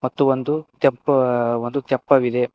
ಮತ್ತೆ ಒಂದು ತೆಪ್ಪು ಒಂದು ತೆಪ್ಪವಿದೆ.